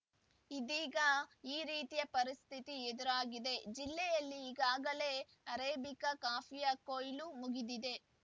ಇದೀಗ ಈ ರೀತಿಯ ಪರಿಸ್ಥಿತಿ ಎದುರಾಗಿದೆ ಜಿಲ್ಲೆಯಲ್ಲಿ ಈಗಾಗಲೇ ಅರೇಬಿಕಾ ಕಾಫಿಯ ಕೊಯ್ಲು ಮುಗಿದಿದೆ